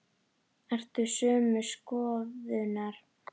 Ert þú sömu skoðunar?